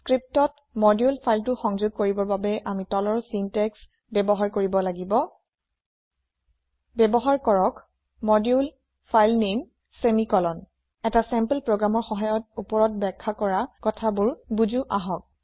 লিপিত মডুলে ফাইল টি সংযোগ কৰিবৰ বাবে আমি তলৰ চিন্টেক্স ব্যৱহাৰ কৰিব লাগিব ব্যৱহাৰ কৰক মডিউলফাইলনামে ছেমিকলন এটা চেম্পল প্ৰোগ্ৰামৰ সহায়ত ওপৰত বাখ্যা কৰা কথা বোৰ বুজো আহক